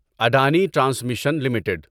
Adani transmission limited